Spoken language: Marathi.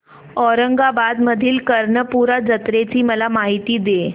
औरंगाबाद मधील कर्णपूरा जत्रेची मला माहिती दे